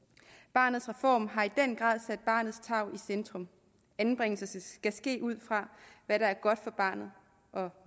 barnets reform har i centrum anbringelse skal ske ud fra hvad der er godt for barnet og